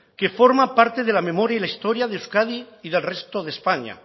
que forma parte de la memoria y la historia de euskadi y del resto de españa